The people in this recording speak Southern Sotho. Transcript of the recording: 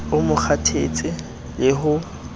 o mo kgothatse le ho